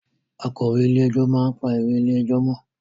Akọ̀wé ilé ẹjọ́ máa ń pa ìwé ilé ẹjọ́ mọ́